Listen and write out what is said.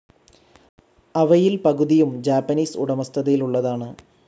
അവയിൽ പകുതിയും ജാപ്പാനീസ് ഉടമസ്ഥതയിലുള്ളതാണ്.